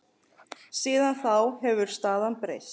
Síðan þá hefur staðan breyst.